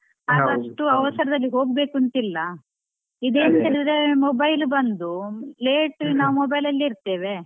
ಆಗ ಅಷ್ಟು ಅವಸರದಲ್ಲಿ ಹೋಗ್ಬೇಕು ಅಂತ ಇಲ್ಲ, ಇದೆಂತ ಹೇಳಿದ್ರೆ mobile ಬಂದು late ನಾವ್ mobile ಅಲ್ಲೆ ಇರ್ತೇವೆ.